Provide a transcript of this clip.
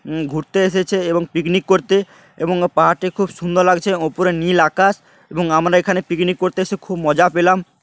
উম ঘুরতে এসেছে এবং পিকনিক করতে এবং পাহাড়টি খুব সুন্দর লাগছে। ওপরে নীল আকাশ এবং আমরা এখানে পিকনিক করতে এসে খুব মজা পেলাম ।